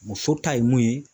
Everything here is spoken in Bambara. Muso ta ye mun ye.